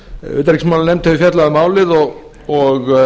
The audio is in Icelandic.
utanríkismálanefnd hefur fjallað um málið og